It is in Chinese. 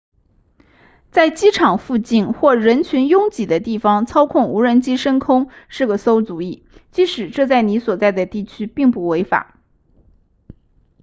在机场附近或人群拥挤的地方操控无人机升空是个馊主意即使这在你所在地区并不违法